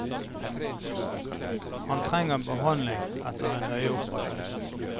Han trenger behandling etter en øyeoperasjon.